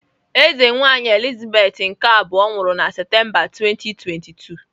Eze nwaanyị Elizabeth nke abụọ nwụrụ na Septemba 2022.